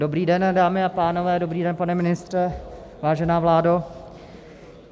Dobrý den, dámy a pánové, dobrý den, pane ministře, vážená vládo.